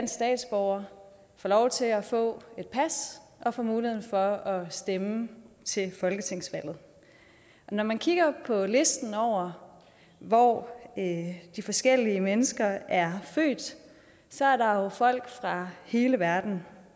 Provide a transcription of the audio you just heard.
statsborgere får lov til at få et pas og får muligheden for at stemme til folketingsvalg når man kigger på listen over hvor de forskellige mennesker er født så er der jo folk fra hele verden